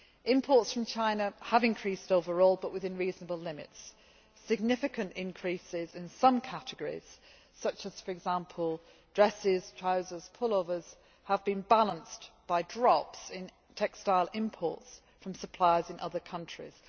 Imports from China have increased overall, but within reasonable limits. Significant increases in some categories such as for example dresses, trousers and pullovers have been balanced by drops in textile imports from suppliers in other countries.